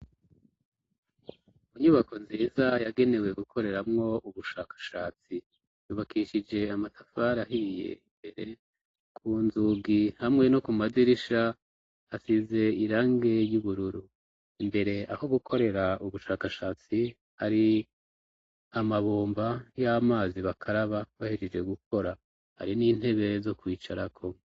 Inyubako nziza yagenewe gukoreramwo ubushakashatsi, yubakishije amatafari ahiye, imbere ku nzugi hamwe no ku madirisha hasize irangi y'ubururu, imbere aho gukorera ubushakashatsi hari amabomba y'amazi bakaraba bahejeje gukora, hari n'intebe zo kwicarako.